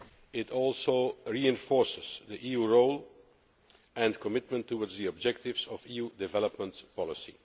It also reinforces the EU's role and commitment to the objectives of EU development policy.